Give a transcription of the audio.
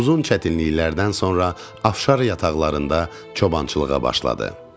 Uzun çətinliklərdən sonra Afşar yataqlarında çobançılığa başladı.